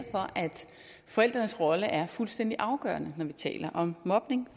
forældrenes rolle er fuldstændig afgørende når vi taler om mobning